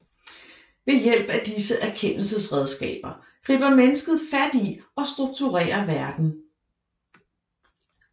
Ved hjælp af disse erkendelsesredskaber griber mennesket fat i og strukturerer verden